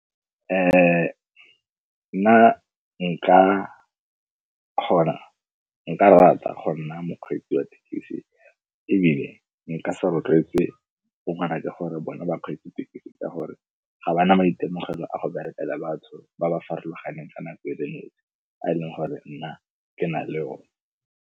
Nna nka kgona nka rata go nna mokgweetsi wa thekisi ebile nka se rotloetse bone bakgweetsi thekisi ka gore ga ba na maitemogelo a go bereka batho ba ba farologaneng ka nako a e leng gore nna ke na le one.